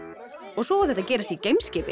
og svo á þetta að gerast í geimskipi